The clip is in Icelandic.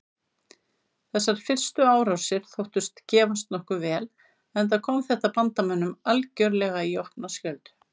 Þessar fyrstu árásir þóttust gefast nokkuð vel enda kom þetta bandamönnum algerlega í opna skjöldu.